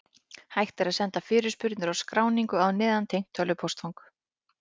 Hægt er að senda fyrirspurnir og skráningu á neðangreint tölvupóstfang.